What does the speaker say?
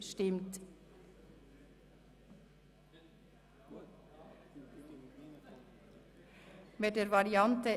Nun stimmen wir darüber ab, ob wir diesen annehmen.